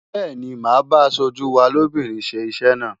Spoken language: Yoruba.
Bẹ́ẹ̀ni, màá bá aṣojú wa lóbìnrin ṣe iṣẹ́ náà.